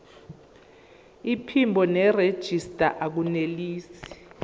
iphimbo nerejista akunelisi